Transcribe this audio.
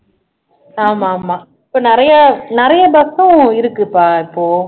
ஆமாமா இப்போ நிறைய நிறைய bus உம் இருக்கு பா இப்போ